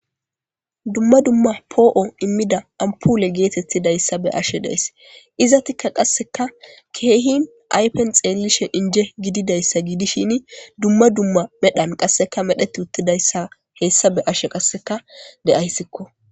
Dumma dumma po'o imida apule getetidaysa be'ashe daysi izetika qaseka kehi ayfen xelishn ije gidida gidishin dumma dumma medhan qaseka medheti utidayaysa hesa be'ashe de'aysikko